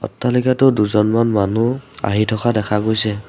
অট্টালিকাটোত দুজনমানে মানুহ আহি থকা দেখা গৈছে।